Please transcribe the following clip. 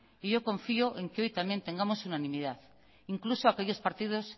y yo confío en que hoy también tengamos unanimidad incluso aquellos partidos